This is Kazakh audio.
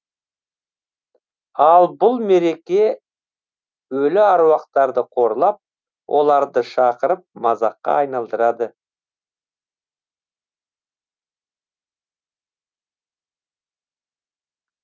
ал бұл мереке өлі аруақтарды қорлап оларды шақырып мазаққа айналдырады